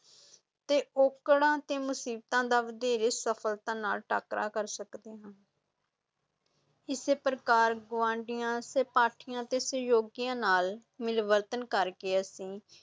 ਤੇ ਔਕੜਾਂ ਤੇ ਮੁਸੀਬਤਾਂ ਦਾ ਵਧੇਰੇ ਸਫ਼ਲਤਾ ਨਾਲ ਟਾਕਰਾ ਕਰ ਸਕਦੇ ਹਾਂ ਇਸੇ ਪ੍ਰਕਾਰ ਗੁਆਂਢੀਆਂ, ਸਹਿਪਾਠੀਆਂ ਤੇ ਸਹਿਯੋਗੀਆਂ ਨਾਲ ਮਿਲਵਰਤਨ ਕਰਕੇ ਅਸੀਂ